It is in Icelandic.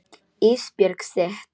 Ísbjörg sitt.